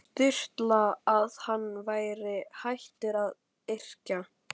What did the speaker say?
Sturlu að hann væri hættur að yrkja.